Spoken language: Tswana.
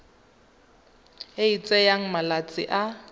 e e tsayang malatsi a